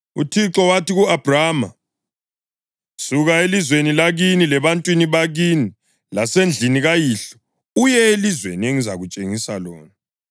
UThixo wathi ku-Abhrama, “Suka elizweni lakini, lebantwini bakini lasendlini kayihlo uye elizweni engizakutshengisa lona.